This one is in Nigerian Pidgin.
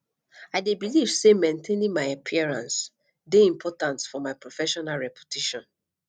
i dey believe say maintaining my appearances dey important for my professional reputation